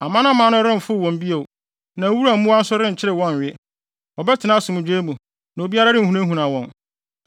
Amanaman no remfow wɔn bio, na wuram mmoa nso renkyere wɔn nnwe. Wɔbɛtena asomdwoe mu na obiara renhunahuna wɔn.